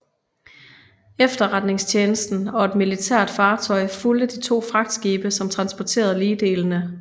Efterretningstjenesten og et militært fartøj fulgte de to fragtskibe som transporterede ligdelene